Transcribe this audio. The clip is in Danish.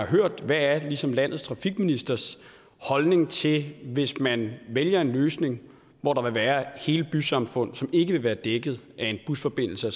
hørt hvad er ligesom landets trafikministers holdning til hvis man vælger en løsning hvor der vil være hele bysamfund som ikke vil være dækket af en busforbindelse og